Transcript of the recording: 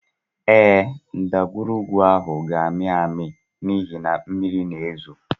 Ee, ndagwurugwu ahụ ga-amị amị n’ihi na mmiri na-ezo